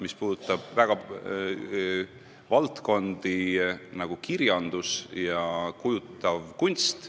See puudutab selliseid valdkondi, nagu kirjandus ja kujutav kunst.